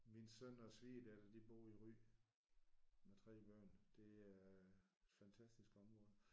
Min søn og svigerdatter de bor i Ry med 3 børn. Det er et fantastisk område